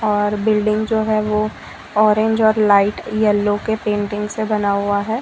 और बिल्डिंग जो है वो ऑरेंज और लाइट येलो के पेंटिंग से बना हुआ है।